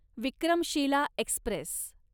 Vikramshila Express